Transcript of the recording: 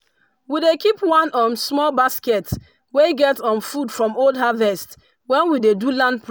we dey keep one um small basket wey get um food from old harvest when we dey do land